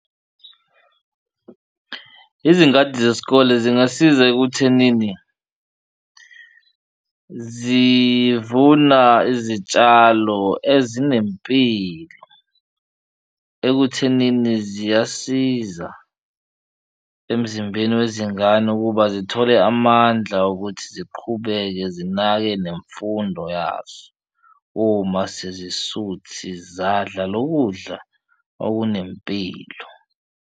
Izingadi zesikole zingasiza ekuthenini zivuna izitshalo ezinempilo ekuthenini ziyasiza emzimbeni wezingane ukuba zithole amandla okuthi ziqhubeke zinake nemfundo yaso, uma sezisuthi zadla lo kudla okunempilo.